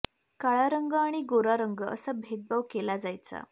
काळा रंग आणि गोरा रंग असा भेदभाव केला जायचा